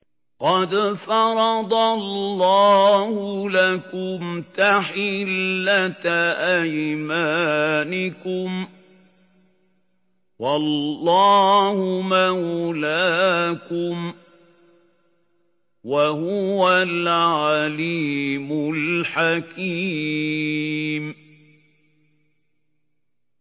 قَدْ فَرَضَ اللَّهُ لَكُمْ تَحِلَّةَ أَيْمَانِكُمْ ۚ وَاللَّهُ مَوْلَاكُمْ ۖ وَهُوَ الْعَلِيمُ الْحَكِيمُ